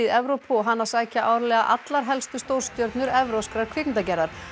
Evrópu og hana sækja árlega allar helstu stórstjörnur evrópskrar kvikmyndagerðar